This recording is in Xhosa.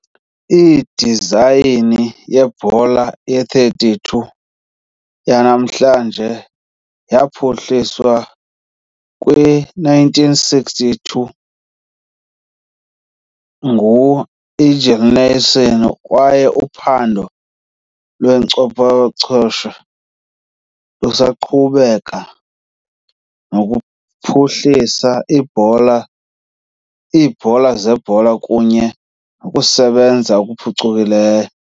Idizayini yebhola ye-32 yanamhlanje yaphuhliswa kwi-1962 ngu -Eigil Nielsen, kwaye uphando lwenkcophochesho luqhubeka nokuphuhlisa ibhola iibhola zebhola kunye nokusebenza okuphucukileyo.